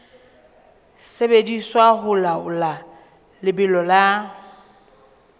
sebediswa ho laola lebelo la